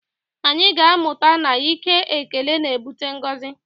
Anyị ga-amụta na ike ekele na-ebute ngọzi